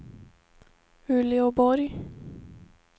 Uleåborg